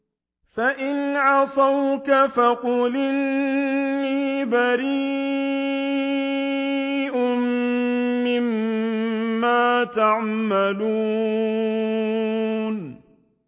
فَإِنْ عَصَوْكَ فَقُلْ إِنِّي بَرِيءٌ مِّمَّا تَعْمَلُونَ